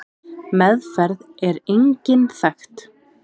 Meðferð er engin þekkt.